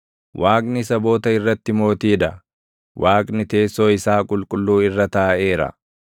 Waaqni saboota irratti Mootii dha; Waaqni teessoo isaa qulqulluu irra taaʼeera.